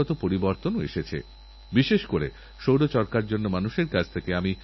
আবিষ্কারের সঙ্গেসরাসরি সম্পর্কিত ইনকিউবেশনসেন্টারে বা গবেষণার আঁতুড়ঘর